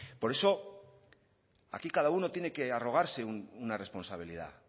por eso aquí cada uno tiene que arrogarse una responsabilidad